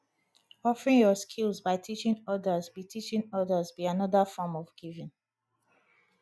offering yur skills by teaching odas be teaching odas be anoda form of giving